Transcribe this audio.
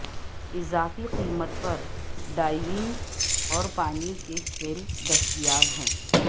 اضافی قیمت پر ڈائیونگ اور پانی کے کھیل دستیاب ہیں